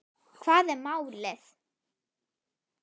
Hvað er málið?